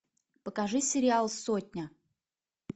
покажи сериал сотня